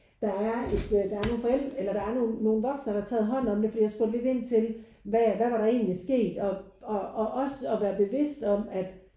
Der er ikke der er nogen forældre eller der er nogen nogen voksne der har taget hånd om det fordi jeg spurgte lidt ind til hvad hvad var der egentlig sket og og også at være bevidst om at